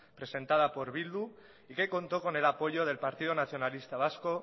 presentada por bildu y que contó con el apoyo del partido nacionalista vasco